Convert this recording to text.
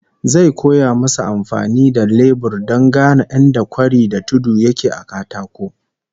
Zai koya musu amfani da lebur don gane inda kwari da tudu yake a katako